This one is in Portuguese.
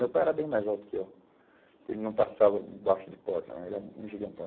Meu pai era bem mais alto que eu, que ele não passava embaixo de porta né, ele era um gigantão.